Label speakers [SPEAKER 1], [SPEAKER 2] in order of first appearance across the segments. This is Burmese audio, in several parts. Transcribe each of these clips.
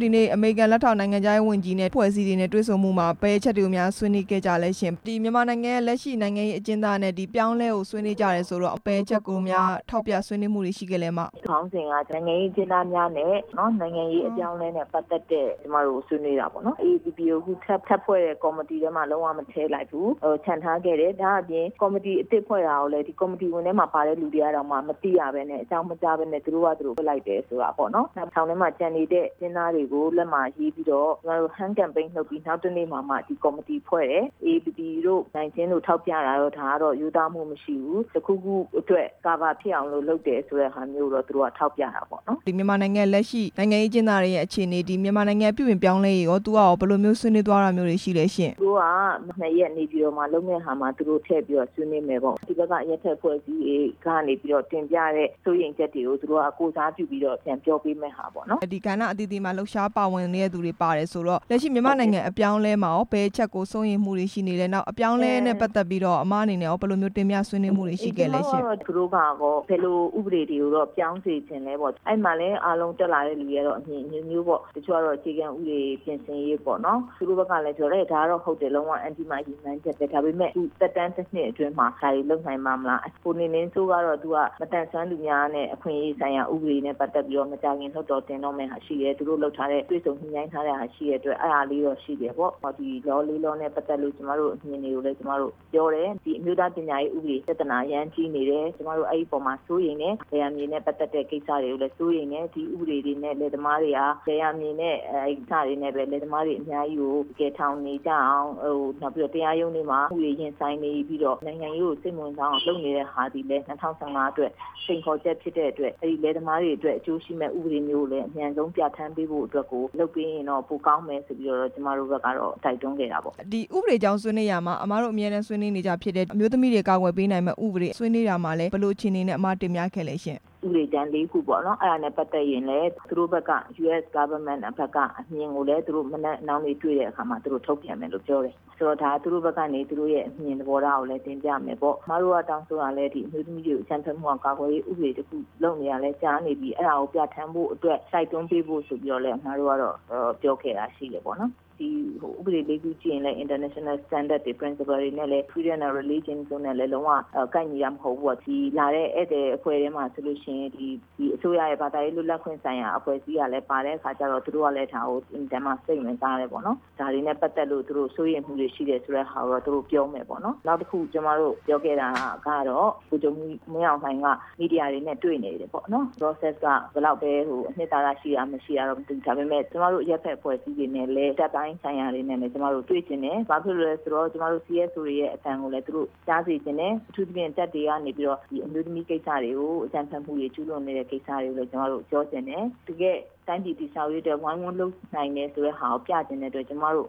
[SPEAKER 1] ဒီနေ့ အမေရိကန် လက်ထောက် နိုင်ငံခြားရေးဝန်ကြီးနဲ့ အဖွဲ့အစည်းတွေနဲ့တွေ့ ဆုံမှုမှာ ဘယ်အချက်တွေကိုများ ဆွေးနွေးခဲ့ကြလဲရှင့်၊ ဒီမြန်မာနိုင်ငံရဲ့ လက်ရှိနိုင်ငံရေး အကျဉ်းသားနဲ့ အပြောင်းအလဲကို ဆွေးနွေးကြတယ်ဆိုတော့ ဘယ်အချက်ကိုများ ထောက်ပြဆွေးနွေမှုတွေရှိခဲ့လဲ အစ်မ။
[SPEAKER 2] ခေါင်းစဉ်ကကျတော့ နိုင်ငံရေးအကျဉ်းသားများနဲ့ နိုင်ငံရေးအပြောင်းအလဲနဲ့ ပတ်သက်တဲ့ ကျမတို့ဆွေးနွေးတာပေါ့နော်၊ AAPP ကိုထပ်ဖွဲ့တဲ့ ကော်မတီထဲမှာ လုံးဝမဖယ်လိုက်ဘူး၊ ချန်ထားခဲ့တယ်၊ ဒါ့အပြင် ကော်မတီအသစ်ဖွဲ့တာကိုလည်း ကော်မတီဝင်ထဲမှာပါတဲ့လူတွေကတောင်မှ မသိရပဲနဲ့ အကြောင်းမကြား ပဲနဲ့ သူတို့ဟာသူတို့ ဖွဲ့လိုက်တယ်ဆိုတဲ့ဟာပေါ့နော်၊ နောက်ထောင်ထဲမှာ ကျန်နေတဲ့ အကျဉ်းသားတွေကို လက်မှာရေးပြီးတော့ ကျမတို့ လှုပ်ရှားမှုလုပ်ပြီးမှ နောက်တစ်နေ့မှ ဒီကော်မတီဖွဲ့တယ်၊ AAPP တို့ နိုင်ကျဉ်း တို့ ထောက်ပြတာတို့ ဒါတော့ရိုးသားမှုမရှိဘူး၊ တစ်ခုခုအတွက် အခုအခံဖြစ်အောင်လို့ လုပ်တယ်ဆိုတဲ့ဟာမျိုး ကိုတော့ သူတို့ကထောက်ပြတာပေါ့နော်။
[SPEAKER 1] ဒီမြန်မာနိုင်ငံ လက်ရှိနိုင်ငံရေးအကျဉ်းသားတွေရဲ့ အခြေအနေတွေ၊ မြန်မာနိုင် ငံပြုပြင်ပြောင်းလဲရေးကော သူကကောဘယ်လိုမျိုး ဆွေးနွေးသွားတာမျိုးရှိလဲရှင့်။
[SPEAKER 2] သူတို့က ၂ ရက် နေပြည်တော်မှာ လုပ်မယ့်ဟာမှာ သူတို့ထည့်ပြီးတော့ ဆွေးနွေးမယ်ပေါ့၊ ဒီဘက်က အရက်ဖက်အဖွဲ့အစည်းတွေကနေပြီးတော့ တင်ပြတဲ့စိုးရိမ်ချက်တွေကို သူတို့က ကိုယ်စားပြု ပြီးတော့ ပြောပေးမဲ့ဟာပေါ့နော်။
[SPEAKER 1] ဒီကဏ္ဍအသီးသီးမှာ လှုပ်ရှားပါဝင်နေတဲ့သူတွေ ပါတယ်ဆိုတော့ လက်ရှိမြန် မာနိုင်ငံ အပြောင်းအလဲမှာကော ဘယ်အချက်ကို စိုးရိမ်မှုတွေရှိနေတယ်၊ နောက်အပြောင်းအလဲနဲ့ ပတ်သက် ပြီးတော့ အစ်မအနေနဲ့ကော ဘယ်လိုမျိုးတင်ပြဆွေးနွေးမှုတွေ ရှိခဲ့လဲရှင့်။
[SPEAKER 2] ကျမကတို့ကတော့ ဘယ်လိုဥပဒေမျိုးတွေကိုတော့ ပြောင်းစေချင်တယ်ပေါ့၊ အဲ့ဒီမှာလည်း အားလုံးတက်လာတဲ့သူတွေက အမြင်အမျိုးမျိုးပေါ့၊ တချို့ကတော့ အခြေခံပဒေပြင်ဆင်ရေးပေါ့နော်၊ သူတို့ဘက်က လည်းပြောတယ် ဒါကတော့ဟုတ်တယ်၊ ဒါပေမယ့် သူသက်တမ်း ၁ နှစ်အတွင်းမှာ ဒါတွေလုပ်နိုင်ပါ့မလား၊ ကိုမင်းမင်းစိုးကတော့ မသန်စွမ်းသူများနဲ့ အခွင့်အရေးဆိုင်ရာ ဥပဒေနဲ့ပတ်သက်ပြီးတော့ မကြာခင်လွှတ်တော် တင်တော့မယ့်ဟာရှိတယ်၊ သူတို့လုပ်ထားတဲ့ တွေ့ဆုံညှိနှိုင်းထားတာရှိတဲ့အတွက် အဲ့ဒါလေးတော့ ရှိတယ်ပေါ့၊ ဒီ ဥပဒေ ၄ ခုနဲ့ပတ်သက်လို့ ကျမတို့အမြင်တွေကိုလည်း ကျမတို့ပြောတယ်၊ ဒီအမျိုးသားပညာရေးဥပဒေ ပြဿနာ အရမ်းကြီးနေတယ်၊ ကျမတို့အဲ့အပေါ်မှာ စိုးရိမ်တယ်၊ လယ်ယာမြေနဲ့ပတ်သက်တဲ့ကိစ္စတွေကိုလည်း စိုးရိမ်တယ်၊ ဒီဥပဒေတွေနဲ့ လယ်သမာတွေဟာ လယ်ယာမြေနဲ့ အဲ့ဟာနဲ့ပဲ လယ်သမားတွေအများကြီးကို ထောင်တွေကျအောင်၊ တရားရုံးတွေမှာ ဥပဒေတွေရင်ဆိုင်နေပြီးတော့ နိုင်ငံရေးကိုစိတ်မဝင်စားအောင် လုပ်နေတဲ့ဟာသည်လည်း ၂ဝ၁၅ အတွက် စိန်ခေါ်ချက်ဖြစ်တဲ့အတွက် အဲ့ဒီလယ်သမားတွေအတွက် အကျိုးရှိမယ့်ဥပဒေမျိုးကိုလည်း အမြန် ဆုံးပြဌါန်းပေးဖို့အတွက်ကို လုပ်ပေးရင်တော့ ပိုကောင်းမယ်ဆိုပြီးတော့ ကျမတို့ဘက်ကတော့ တိုက်တွန်းခဲ့ တာပေါ့။
[SPEAKER 1] ဒီဥပဒေအကြောင်းဆွေးနွေးရာမှာ အစ်မတို့အမြဲတမ်း ဆွေးနွေးနေကျဖြစ်တဲ့ အမျိုးသမီးတွေ ကာကွယ်ပေးနိုင်တဲ့ဥပဒေ ဆွေးနွေးရာမှာလည်း ဘယ်လိုအခြေအနေနဲ့ အစ်မ တင်ပြခဲ့ပါသလဲ။
[SPEAKER 2] ဥပဒေကြမ်း ၄ ခုပေါ့နော်၊ အဲ့ဒါနဲ့ပတ်သက်ရင်လည်း သူတို့ဘက်က အမေရိကန် သမ္မတဘက်ကအမြင်ကိုလည်း နည်းနည်းသူတို့နောက်နေ့တွေ့တဲ့အခါ တုန့်ပြန်မယ်လို့ပြောတယ်၊ ဆိုတော့ တစ်ခါသူတို့ဘက်ကနေ သူတို့အမြင်သဘောထားကိုလည်း တင်ပြမယ်ပေါ့၊ ကျမတို့ကတောင်းဆိုတာကလည်း အမျိုးသမီးတွေကို အကြမ်းမဖက်အောင် ကာကွယ်ရေးဥပဒေတစ်ခု လုပ်နေတာလည်းကြာနေပြီ၊ အဲ့ဒါကို ပြဌါန်း ဖို့အတွက် တိုက်တွန်းပေးဖို့ဆိုပြီးတော့လည်း ကျမတို့ကတော့ ပြောခဲ့တာရှိတယ်ပေါ့နော်၊ ဒီဥပဒေ ၄ ခုကြည့် ရင်လည်း နိုင်ငံတကာအဆင့်တွေနဲ့လည်း လုံးဝကိုက်ညီတာမဟုတ်ဘူးပေါ့၊ လာတဲ့ဧည့်သည်တွေ အဖွဲ့ထဲမှာဆို လို့ရှိရင်လည်း ဒီအစိုးရရဲ့ ဘာသာရေးလွတ်လပ်ခွင့်ဆိုင်ရာ အဖွဲ့အစည်းကလည်း ပါတဲ့အခါကျတော့ သူတို့က လည်း ဒါကိုအင်မတန်မှ စိတ်ဝင်စားတယ်ပေါ့နော်၊ ဒါတွေနဲ့ပတ်သက်လို့ သူတို့စိုးရိမ်မှုလည်းရှိတယ်ဆိုတဲ့ ဟာကိုတော့ သူတို့ပြောမယ်ပေါ့နော်၊ နောက်တစ်ခု ကျမတို့ပြောခဲ့တာကတော့ ဗိုလ်ချုပ်မှူးကြီး မင်းအောင်လှိုင်က မီဒီယာတွေနဲ့ တွေ့နေတယ်ပေါ့နော်၊ တွေ့ဆုံမှုက ဘယ်လောက်ပဲ အနှစ်သာရရှိတာ မရှိတာတော့မသိဘူး၊ ကျမတို့ အရက်ဖက်အဖွဲ့အစည်းတွေကလည်း တပ်ပိုင်းဆိုင်ရာတွေနဲ့လည်း ကျမတို့တွေ့ချင်တယ်၊ ဘာဖြစ်လို့လည်းဆိုတော့ ကျမတို့ CSO တွေရဲ့အသံကိုလည်း သူတို့ကြားစေချင်တယ်၊ အထူးသဖြင့် တပ်တွေကနေပြီးတော့ ဒီအမျိုးသမီး ကိစ္စတွေကို အကြမ်းဖက်မှုတွေ ကျူးလွန်နေတဲ့ဟာတွေကိုလည်း ကျမတို့ပြောချင်တယ်၊ တကယ့်တိုင်းပြည် တည်ဆောက်ရေးအတွက် ဝိုင်းဝန်းလုပ်နိုင်တယ်ဆိုတဲ့ဟာကို ပြချင်တဲ့အတွက် ကျမတို့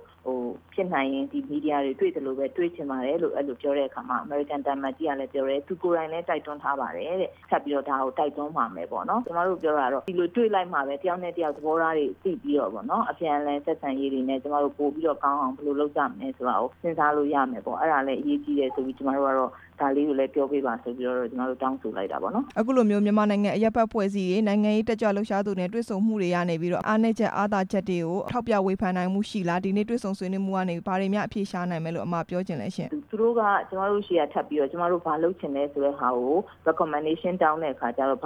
[SPEAKER 2] ဖြစ်နိုင်ရင် ဒီမီဒီယာတွေတွေ့သလိုပဲ တွေ့ချင်ပါတယ်လို့ အဲ့လိုပြောတဲ့အခါမှာ အမေရိကန်သံအမတ်ကြီးကလည်းပြောတယ် သူကိုယ်တိုင်လည်း တိုက်တွန်းထားပါတယ်တဲ့ ထပ်ပြီးတော့ဒါကို တိုက်တွန်းပါမယ်ပေါ့နော်၊ ကျမတို့ပြောတာ ကတော့ ဒီလိုတွေ့လိုက်မှပဲ တစ်ယောက်နဲ့တစ်ယောက် သဘောထားတွေသိပြီးတော့ပေါ့နော် အပြန်အလှန်ဆက် ဆံရေးတွေနဲ့ ကျမတို့ပိုပြီးတော့ကောင်းအောင် ဘယ်လိုလုပ်ကြမလဲဆိုတာကို စဉ်းစားလို့ရမယ်ပေါ့၊ အဲ့ဒါလည်း အရေးကြီးတယ်ဆိုတာလည်း ကျမတို့ကတော့ ဒါလေးကိုလည်းပြောပေးပါဆိုပြီးတော့ ကျမတို့ တောင်းဆိုလိုက် တာပေါ့နော်။
[SPEAKER 1] အခုလိုမျိုး မြန်မာနိုင်ငံအရက်ဖက်အဖွဲ့အစည်းတွေ၊ နိုင်ငံရေးတက်ကြွသူတွေနဲ့ တွေ့ ဆုံမှုတွေကနေပြီးတော့ အားနည်းချက် အားသာချက်တွေကို ထောက်ပြဝေဖန်နိုင်မှုရှိလား၊ ဒီနေ့တွေ့ဆုံမှုကနေ ဘာတွေများအဖြေရှာနိုင်မယ်လို့ အစ်မပြောချင်လဲရှင့်။
[SPEAKER 2] သူတို့က ကျမတို့ဆီက ထပ်ပြီးတော့ ကျမတို့ဘာလုပ်ချင်လဲဆိုတဲ့ဟာကို တောင်းတဲ့ အခါကျတော့ ဥပ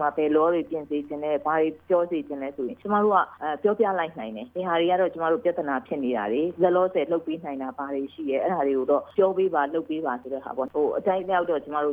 [SPEAKER 2] မာ ဘယ်ဥပဒေတွေပြင်စေချင်တယ်၊ ဘာတွေပြောစေချင်လဲဆိုတော့ ကျမတို့က ပြောပြလိုက်နိုင် တယ်၊ ဘယ်ဟာတွေကတော့ ကျမတို့ ပြဿနာဖြစ်နေတယ်၊ လောလောဆယ်လုပ်ပေးနိုင်တာ ဘာတွေရှိတယ်၊ အဲ့ဒါတွေကိုတော့ ပြောပေးပါ၊ လုပ်ပေးပါဆိုတဲ့ဟာပေါ့၊ အထိုက်အလျောက်တော့ ကျမတို့